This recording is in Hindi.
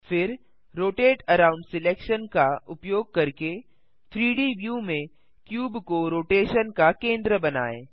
फिर रोटेट अराउंड सिलेक्शन का उपयोग करके 3डी व्यू में क्यूब को रोटेशन का केंद्र बनाएँ